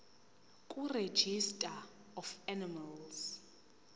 kuregistrar of animals